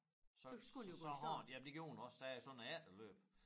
Så så så har den jamen det gjorde den også der er sådan et efterløb